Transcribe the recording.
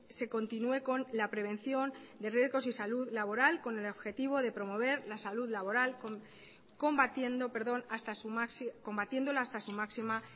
se continúe con la prevención de riesgos y salud laboral con el objetivo de promover la salud laboral combatiéndola hasta su máxima